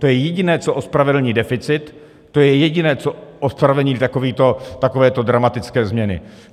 To je jediné, co ospravedlní deficit, to je jediné, co ospravedlní takovéto dramatické změny.